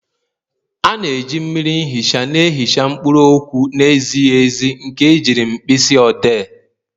A na-eji mmiri ihicha na-ihicha mkpụrụ okwu na-ezighi ezi nke ejiri mkpịsị odee.